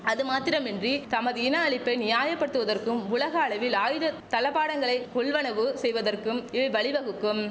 அது மாத்திரமின்றி தமது இன அழிப்பை நியாயப்படுத்துவதற்கும் உலக அளவில் ஆயுத தளபாடங்களை கொள்வனவு செய்வதற்கும் இவை பழிவகுக்கும்